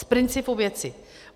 Z principu věci.